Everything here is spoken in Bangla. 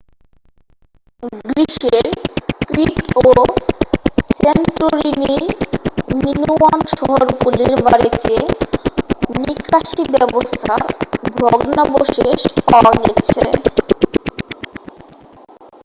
গ্রীসের ক্রিট ও স্যান্টোরিনির মিনোয়ান শহরগুলির বাড়িতে নিকাশী ব্যবস্থার ভগ্নাবশেষ পাওয়া গেছে